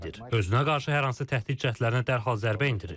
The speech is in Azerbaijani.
Özünə qarşı hər hansı təhdid cəhdlərinə dərhal zərbə endirir.